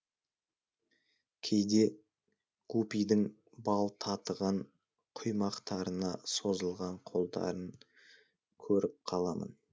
кейде гупидің бал татыған құймақтарына созылған қолдарын көріп қаламын